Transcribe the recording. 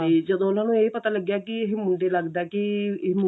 ਤੇ ਜਦੋਂ ਉਹਨਾ ਨੂੰ ਇਹ ਪਤਾ ਲੱਗਿਆ ਕਿ ਮੁੰਡੇ ਲੱਗਦਾ ਕਿ